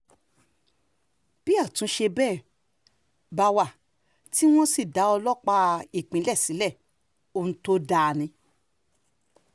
bí àtúnṣe bẹ́ẹ̀ bá wà tí wọ́n sì dá ọlọ́pàá ìpínlẹ̀ sílẹ̀ ohun tó dáa ni